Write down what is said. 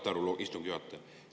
Saate aru, istungi juhataja?